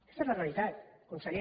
aquesta és la realitat conseller